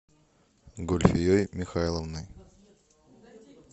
гульфией михайловной